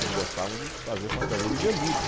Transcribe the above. Eles gostavam de fazer fantasia de veludo.